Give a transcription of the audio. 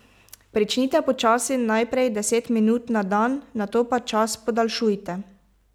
Pričnite počasi, najprej deset minut na dan, nato pa čas podaljšujte.